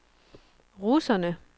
russerne